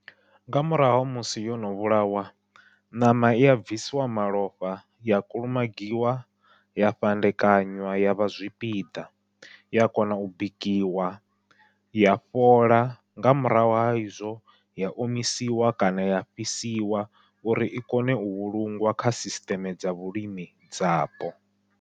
Nga murahu ha musi yono vhulawa, ṋama iya bvisiwa malofha ya kulumagiwa ya fhandekanya yavha zwipiḓa, ya kona u bikiwa ya fhola nga murahu ha izwo ya omisiwa kana ya fhisiwa uri i kone u vhulungwa kha sisiṱeme dza vhulimi dzapo.